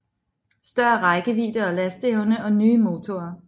Større rækkevidde og lasteevne og nye motorer